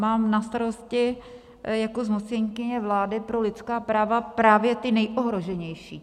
Mám na starosti jako zmocněnkyně vlády pro lidská práva právě ty nejohroženější.